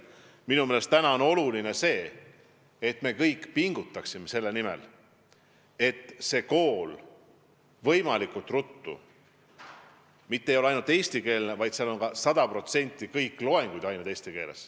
Minu meelest on oluline meil kõigil pingutada selle nimel, et see kool võimalikult peagi mitte ei ole ainult eestikeelne, vaid seal on sada protsenti kõik tunnid eesti keeles.